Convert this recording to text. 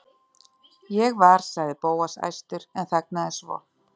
Ég var.- sagði Bóas æstur en þagnaði svo.